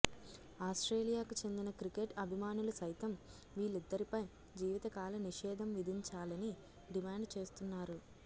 ఆస్ట్రేలియాకు చెందిన క్రికెట్ అభిమానులు సైతం వీళ్లిద్దరిపై జీవితకాల నిషేధం విధించాలని డిమాండ్ చేస్తున్నారు